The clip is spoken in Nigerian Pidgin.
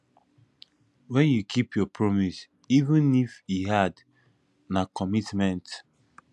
wen you keep your promise even if e hard na commitment